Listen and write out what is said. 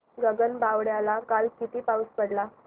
गगनबावड्याला काल किती पाऊस पडला